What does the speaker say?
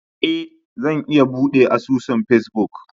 Ee, Zan iya buɗe asusun Facebook.